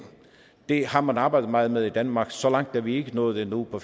det har man arbejdet meget med i danmark så langt er vi ikke nået endnu på